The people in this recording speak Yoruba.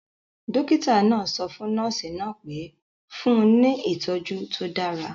Dọ́kítà náà sọ fún nọ́ọ̀sì náà pé; fún un ní ìtọjú tó dára